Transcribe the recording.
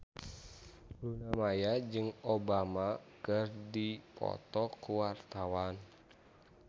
Luna Maya jeung Obama keur dipoto ku wartawan